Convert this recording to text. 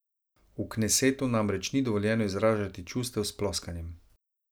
V knesetu namreč ni dovoljeno izražati čustev s ploskanjem.